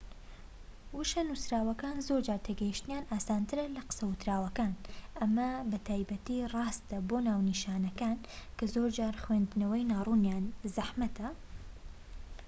وشە نووسراوەکان زۆرجار تێگەیشتنیان ئاسانترە لە قسە ووتراوەکان ئەمە بە تایبەتی ڕاستە بۆ ناونیشانەکان کە زۆرجار خوێندنەوەی ناڕوونیان زەحمەتە